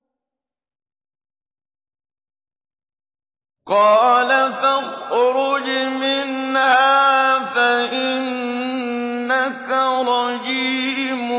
قَالَ فَاخْرُجْ مِنْهَا فَإِنَّكَ رَجِيمٌ